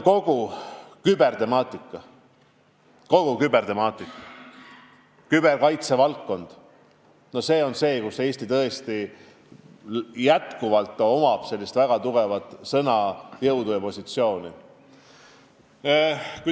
Kogu kübertemaatika, küberkaitse valdkond – see on valdkond, kus Eesti on väga tugevalt sõna võtnud ja kus ta on tugeval positsioonil.